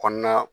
Kɔnɔna